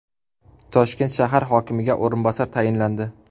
Toshkent shahar hokimiga o‘rinbosar tayinlandi.